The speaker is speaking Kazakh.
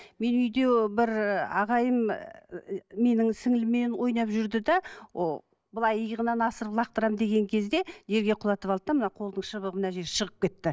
мен үйде бір ағайым менің сіңліліммен ойнап жүрді де былай иығынан асырып лақтырамын деген кезде жерге құлатып алды да мына қолтығының шыбығы мына жер шығып кетті